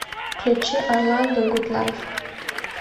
включи орландо гуд лайф